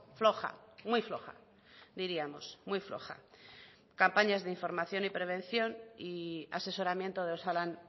floja muy floja diríamos muy floja campañas de información y prevención y asesoramiento de osalan